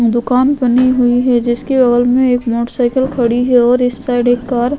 दुकान बनी हुई है जिसके में एक मोटर साइकेल खड़ी है और इस साइड एक कार --